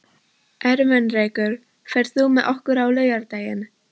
Ermenrekur, ferð þú með okkur á laugardaginn?